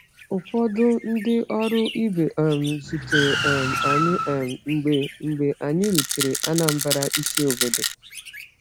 Ụfọdụ ndị ọrụ ibe um zutere um anyị um mgbe mgbe anyị rutere Anambra, isi obodo.